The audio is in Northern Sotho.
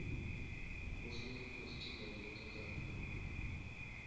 go swerwe festival ya kakapa